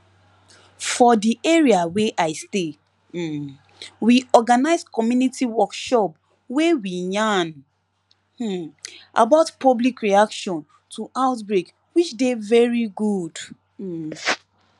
for the area we i stay um we organize community workshop wey we yarn um about public reaction to outbreak which dey very good um